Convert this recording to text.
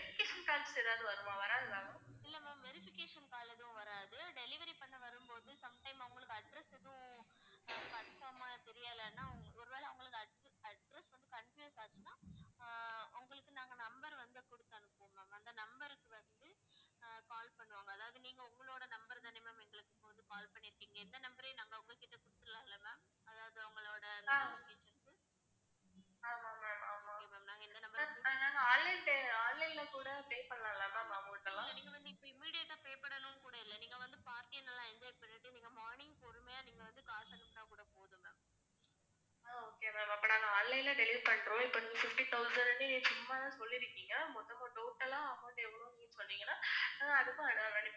okay ma'am அப்ப நாங்க delivery பண்றோம். இப்ப நீங்க fifty thousand ன்னு சும்மாதான் சொல்லிருக்கீங்க, மொத்தமா total ஆ amount எவ்வளவுன்னு நீங்க சொன்னீங்கன்னா